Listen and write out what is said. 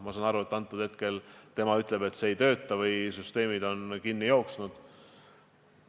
Ma saan aru, et hetkel need süsteemid ei tööta või on kinni jooksnud.